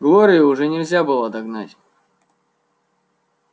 глорию уже нельзя было догнать